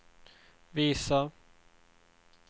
visa